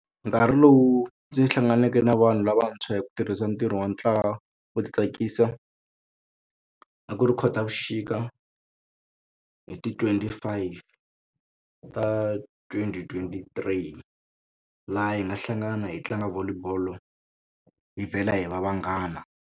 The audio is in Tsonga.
Nkarhi lowu ndzi hlanganeke na vanhu lavantshwa hi ku tirhisa ntirho wa ntlawa wo ti tsakisa a ku ri khotavuxika hi ti twenty five ta twenty twenty three laha hi nga hlangana hi tlanga Volleyball hi vhela hi va vanghana.